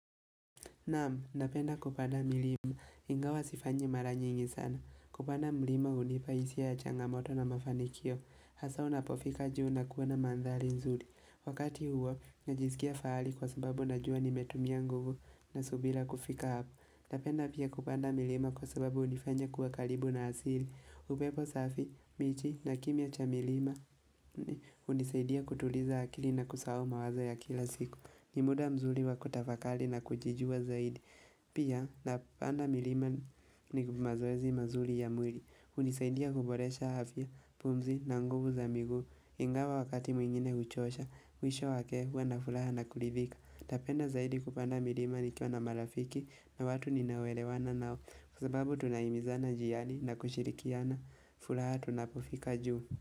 Nam, napenda kupanda milima. Ingawa sifanyi mara nyingi sana. Kupanda milima hunipa hisia ya changamoto na mafanikio. Hasa unapofika juu na kuona mandhari nzuri. Wakati huo, najiskia fahari kwa sababu najua nimetumia nguvu na subira kufika hapo. Napenda pia kupanda milima kwa sababu hunifanya kuwa karibu na asili. Upepo safi, miji na kimya cha milima hunisaidia kutuliza akili na kusahau mawazo ya kila siku. Ni muda mzuri wa kutafakari na kujijua zaidi Pia napanda milima ni mazoezi mazuri ya mwili. Hunisaidia kuboresha afya, pumzi na nguvu za miguu Ingawa wakati mwingine huchosha mwisho wake hua na furaha na kuridhika. Napenda zaidi kupanda milima nikiwa na marafiki na watu ninaoelewana nao Kwa sababu tunahimizana njiani na kushirikiana furaha tunapofika juu.